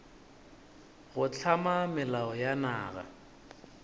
go hlama melao ya naga